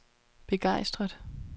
begejstret